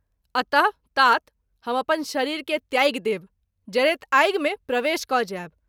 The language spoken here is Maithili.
अत: तात ! हम अपन शरीर के त्यागि देव, जरैत आगि मे प्रवेश क’ जाएब।